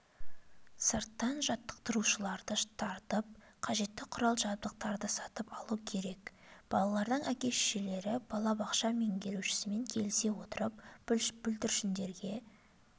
сырттан жаттықтырушыларды тартып қажетті құрал-жабдықтарды сатып алу керек балалардың әке-шешелері балабақша меңгерушісімен келісе отырып бүлдіршіндерге